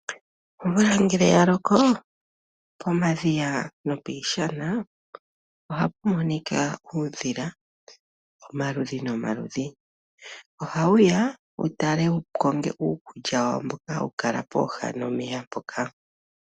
Omvula ngele ya loko pomadhiya no piishana ohapu monika uudhila omaludhi no maludhi. Oha wuya wu tale wu konge uukulya wawo mboka ha wu kala pooha nomeya mpoka.